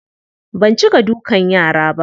Ban cika dukan yara ba.